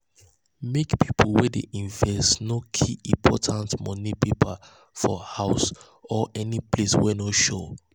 make pipu wey dey invest no keep important money papers for house or any place wey no sure.